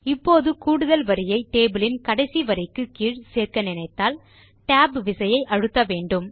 இப்போது கூடுதல் வரியை டேபிள் யின் கடைசி வரிக்கு கீழ் சேர்க்க நினைத்தால் Tab விசையை அழுத்தவேண்டும்